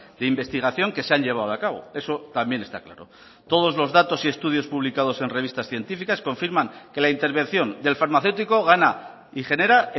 de investigación que se han llevado a cabo eso también está claro todos los datos y estudios publicados en revistas científicas confirman que la intervención del farmacéutico gana y genera